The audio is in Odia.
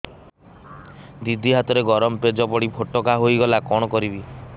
ଦିଦି ହାତରେ ଗରମ ପେଜ ପଡି ଫୋଟକା ହୋଇଗଲା କଣ କରିବି